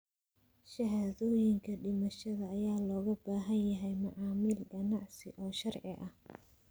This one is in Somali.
Shahaadooyinka dhimashada ayaa looga baahan yahay macaamil ganacsi oo sharci ah.